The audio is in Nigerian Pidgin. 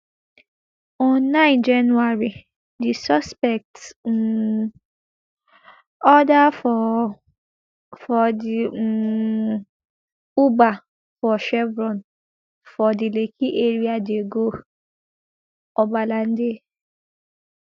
on nine january di suspects um order for for di um uber for chevron for di lekki area dey go obalande